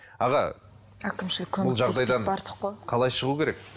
аға бұл жағдайдан қалай шығу керек